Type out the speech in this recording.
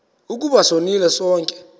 ukuba sonile sonke